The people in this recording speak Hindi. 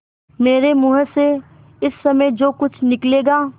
मेरे मुँह से इस समय जो कुछ निकलेगा